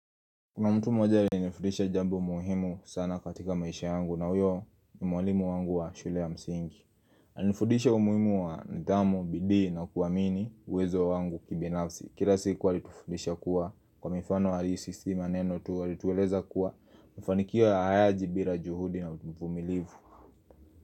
Kuna mtu mmoja alinifudisha jambo muhimu sana katika maisha yangu na uyo ni mwalimu wangu wa shule ya msingi Alinifundisha umuhimu wa nidhamu, bidii na kuamini uwezo wangu kibinafsi Kila siku alitufudisha kuwa kwa mifano alisisima neno tu alitueleza kuwa mafanikio hayaji bila juhudi na uvumilivu.